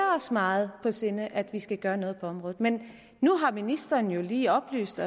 os meget på sinde at vi skal gøre noget på området men nu har ministeren jo lige oplyst